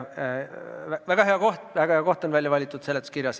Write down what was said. Väga hea koht on välja valitud!